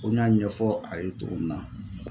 Ko n y'a ɲɛfɔ a ye cogo min na.